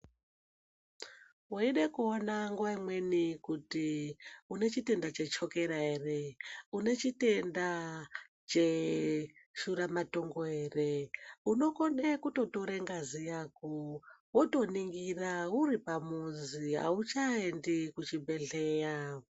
Weide kuona nguwa imweni kuti unechitenda chechokera ere, unechitenda cheshura matongo ere unokone kutotore ngazi yako wotoningira uripamuzi auchayemdi kuchibhedhlera.